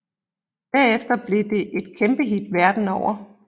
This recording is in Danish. Derefter blev det et kæmpehit verden over